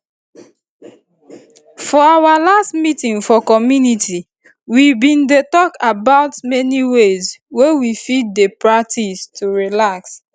for our last meeting for community we bin dey talk about many ways wey we fit dey practice to relax